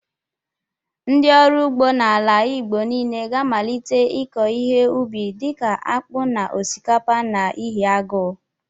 Ndị ọrụ ugbo n'ala Igbo niile ga-amalite ịkọ ihe ụbi dịka akpu na osikapa n'ihi agụụ.